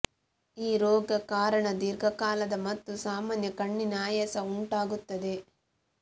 ಈ ರೋಗ ಕಾರಣ ದೀರ್ಘಕಾಲದ ಮತ್ತು ಸಾಮಾನ್ಯ ಕಣ್ಣಿನ ಆಯಾಸ ಉಂಟಾಗುತ್ತದೆ